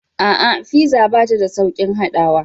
A'a, fiza bata da sauƙin haɗawa.